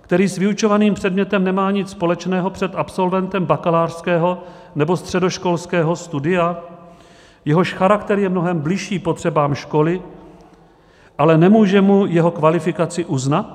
který s vyučovaným předmětem nemá nic společného, před absolventem bakalářského nebo středoškolského studia, jehož charakter je mnohem bližší potřebám školy, ale nemůže mu jeho kvalifikaci uznat?